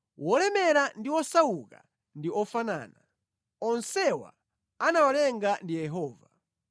Wolemera ndi wosauka ndi ofanana; onsewa anawalenga ndi Yehova.